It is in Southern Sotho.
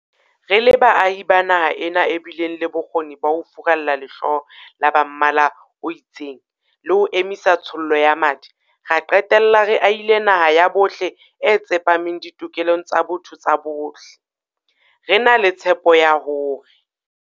Re le baahi ba naha ena e bileng le bokgoni ba ho furalla lehloyo la ba mmala o itseng le ho emisa tshollo ya madi, ra qetella re ahile naha ya bohle e tsepameng ditokelong tsa botho tsa bohle, re na le tshepo ya hore.